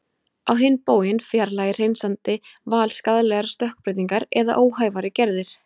Á hinn bóginn fjarlægir hreinsandi val skaðlegar stökkbreytingar eða óhæfari gerðir.